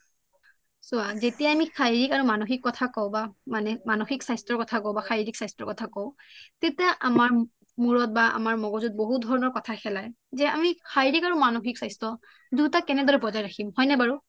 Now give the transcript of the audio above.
চোৱা যেতিয়া আমি শাৰিৰীক আৰু মানসিক কথা কওঁ বা মানে শাৰিৰীক মানসিক স্বাস্থ্যৰ কথা কওঁ তেতিয়া আমাৰ মূৰত বা মগজুত বহুত কথা খেলাই যে আমি শাৰিৰীক আৰু মানসিক স্বাস্থ্য দুটা কেনে দৰে বজাই ৰাখিম হয় নে বাৰু